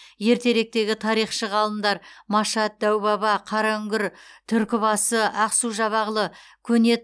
ертеректегі тарихшы ғалымдар машат дәубаба қараүңгір түркібасы ақсу жабағылы көне